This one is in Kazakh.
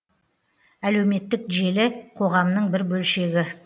әлеуметтік желі қоғамның бір бөлшегі